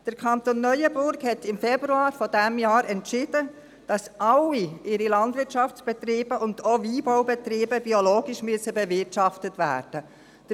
Der Kanton Neuenburg hat im Februar dieses Jahres entschieden, dass all seine Landwirtschaftsbetriebe, und auch die Weinbaubetriebe, biologisch bewirtschaftet werden müssen.